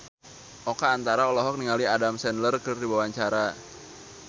Oka Antara olohok ningali Adam Sandler keur diwawancara